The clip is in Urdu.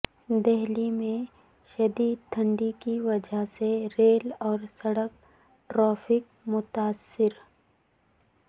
دہلی میں شدید دھند کی وجہ سے ریل اور سڑک ٹریفک متاثر